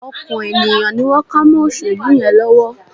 Ọkàn ènìyàn ni wọ́n ká mọ́ òṣèlú yẹn lọ́wọ́